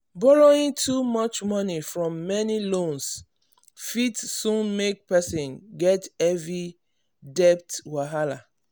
borrowing too much money from many loans fit soon make person get heavy debt wahala.